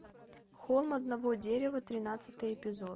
холм одного дерева тринадцатый эпизод